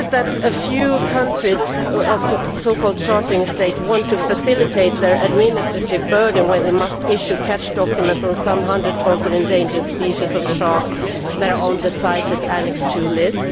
Is it that a few countries, so called chartering states', want to facilitate their administrative burden when they have to issue catch documents on a few hundred tonnes of endangered species of sharks that are on the CITES Annex 2 list?